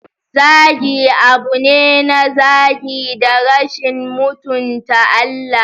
Zagi abu ne na zagi da rashin mutunta Allah.